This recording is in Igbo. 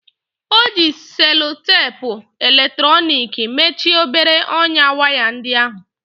O ji selutepu eletrọnịki mechie obere ọnyá waya ndị ahụ.